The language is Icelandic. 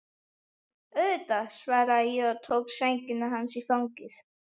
Auðvitað, svaraði ég og tók sængina hans í fangið.